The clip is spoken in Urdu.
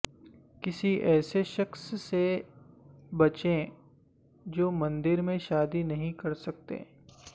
کسی ایسے شخص سے بچیں جو مندر میں شادی نہیں کرسکتے